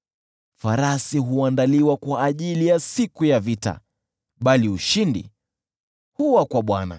Farasi huandaliwa kwa ajili ya siku ya vita, bali ushindi huwa kwa Bwana .